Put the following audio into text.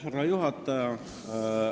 Härra juhataja!